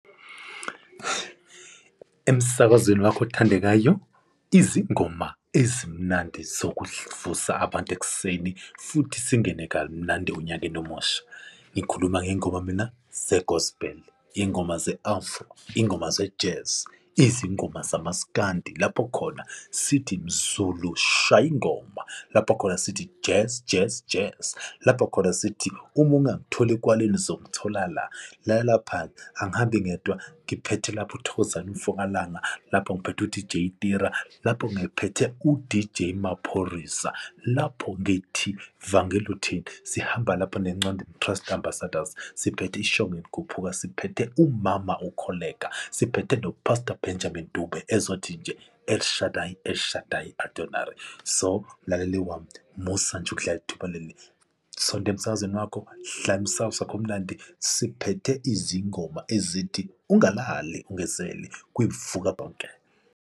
Emsakazweni wakho othandekayo, izingoma ezimnandi zokuvusa abantu ekuseni futhi singene kamnandi onyakeni omusha, ngikhuluma ngey'ngoma mina ze-gospel, iy'ngoma ze-afro, iy'ngoma ze-jazz, izingoma zamasikandi lapho khona sithi mZulu, shaya ingoma, lapho khona sithi jazz jazz jazz, lapho khona sithi uma ungakutholi ekwaleni uzokuthola la. Lalela lapha-ke angihambi ngedwa ngiphethe lapho uThokozane umfoka Langa, lapho ngiphethe u-D_J Tira, lapho ngiphethe u-D_J Maphorisa, lapho ngithi vangele uthini? Sihamba lapha neNcandweni Christ Ambassadors siphethe iShongwe elikhuphukayo, siphethe umama uKholeka, siphethe no-pastor Benjamin Dube ezothi nje El Shaddai, El Shaddai, Adonari. So, mlalele wami musa nje ukuhlala ithuba leli sonta emsakazweni wakho, hlala emsakazweni wakho omnandi, siphethe izingoma ezithi ungalali ungezele kwivuka bonke.